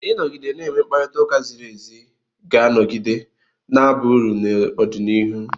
Ịnọgide na-enwe mkparịta ụka ziri ézí ga-anọgide na-aba uru n'ọdịnihu.